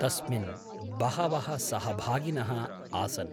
तस्मिन् बहवः सहभागिनः आसन्।